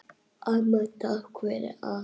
Amma, takk fyrir allt.